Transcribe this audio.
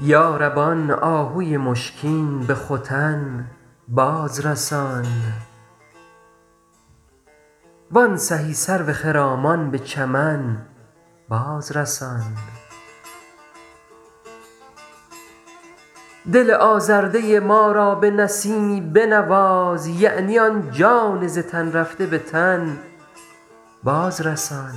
یا رب آن آهوی مشکین به ختن باز رسان وان سهی سرو خرامان به چمن باز رسان دل آزرده ما را به نسیمی بنواز یعنی آن جان ز تن رفته به تن باز رسان